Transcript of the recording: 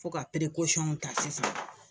Fo ka ta sisan